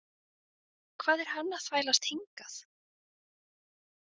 Hvað er hann að þvælast hingað?